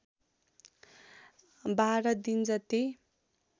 १२ दिन जति